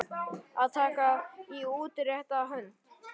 Að taka í útrétta hönd